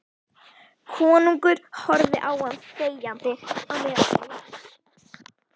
Konungur horfði á hann þegjandi á meðan hann las: